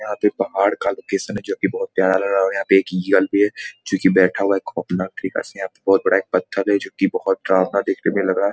यहाँ पे पहाड़ का लोकेशन है जो की बहुत प्यारा लग रहा है और यहाँ पे एक भी है जो की बैठा हुआ है खोफनाक तरीका से यहाँ पे बहुत बड़ा एक पत्थर है जो की बहुत डरवाना देखने में लग रहा है।